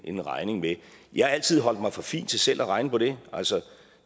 en regning med jeg har altid holdt mig for fin til selv at regne på det altså